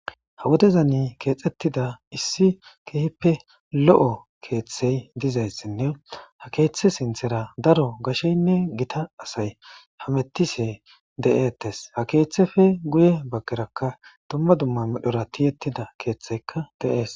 ha wodezani keexettida issi keehippe lo7o keeththey dizayssinne ha keeththe sinthera daro gasheynne gita asay hamettise de7ettes ha keeththefe guye baggerakka dumma dumma midhora tiyettida keeththeykka de7ees